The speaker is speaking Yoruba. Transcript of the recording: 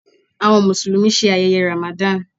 Awọn Musulumi ṣe ayẹyẹ Ramadan